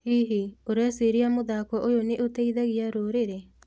Hihi, ũreciria mũthako ũyũ nĩ ũteithagia rũrĩrĩ?